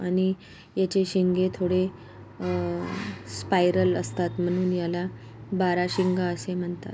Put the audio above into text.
आणि याची शिंगे थोडे अ स्पायरल असतात म्हणुन त्याला बारा शिंगे असे म्हणतात.